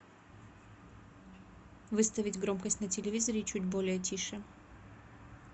выставить громкость на телевизоре чуть более тише